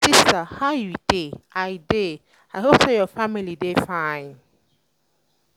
my sister how you dey i dey i hope say your family dey fine